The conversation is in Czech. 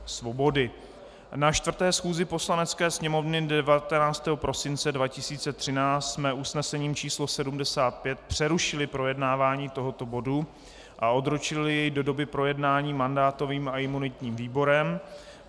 Na 4. schůzi Poslanecké sněmovny 19. prosince 2013 jsme usnesením číslo 75 přerušili projednávání tohoto bodu a odročili je do doby projednání mandátovým a imunitním výborem.